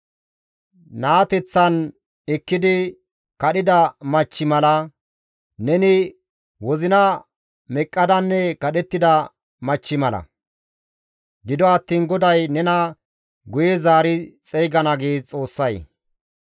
Naateththan ekkidi kadhida machchi mala; neni wozina meqqidanne kadhettida machchi mala; gido attiin GODAY nena guye zaari xeygana» gees Xoossay.